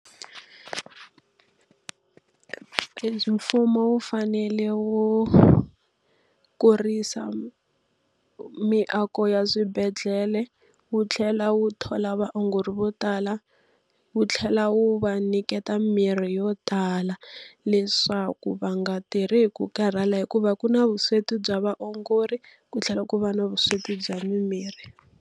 Mfumo wu fanele wu kurisa miako ya swibedhlele, wu tlhela wu thola vaongori vo tala, wu tlhela wu va nyiketa mimirhi yo tala leswaku va nga tirhi hi ku karhala. Hikuva ku na vusweti bya vaongori ku tlhela ku va na vusweti bya mimirhi.